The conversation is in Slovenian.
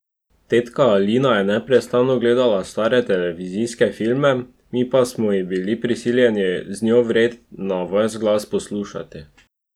Tetka Alina je neprestano gledala stare televizijske filme, mi pa smo jih bili prisiljeni z njo vred na ves glas poslušati.